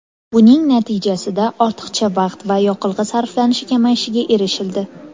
Buning natijasida ortiqcha vaqt va yoqilg‘i sarflanishi kamayishiga erishildi.